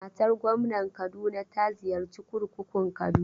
Matar gwamnar Kaduna ta ziyarci kurkukun Kaduna.